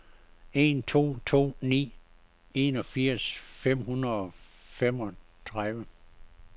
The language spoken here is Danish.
en to to ni enogfirs fem hundrede og femogtredive